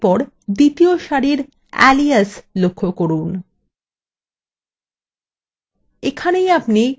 এরপর দ্বিতীয় সারির alias লক্ষ্য যান